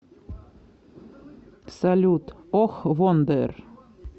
салют ох вондер